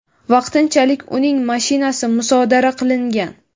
vaqtinchalik uning mashinasi musodara qilingan.